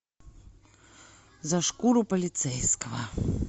за шкуру полицейского